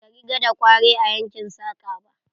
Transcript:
Bata riga ta kware a yankin saƙa ba.